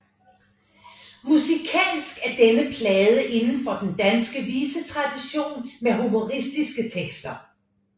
Musikalsk er denne plade inden for den danske visetradition med humoristiske tekster